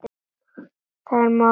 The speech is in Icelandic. Þar er málið statt.